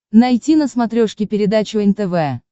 найти на смотрешке передачу нтв